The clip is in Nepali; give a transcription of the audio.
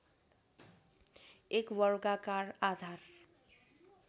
एक वर्गाकार आधार